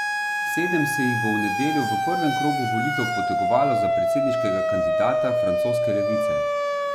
Sedem se jih bo v nedeljo v prvem krogu volitev potegovalo za predsedniškega kandidata francoske levice.